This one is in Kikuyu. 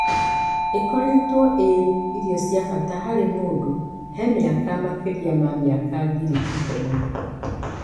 Ĩkoretwo ĩ ĩrio cia bata harĩ mũndũ he miaka makĩrĩa ma miaka ngiri ikũmi.